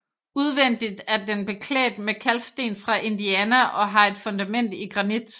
Udvendigt er den beklædt med kalksten fra Indiana og har et fundament i granit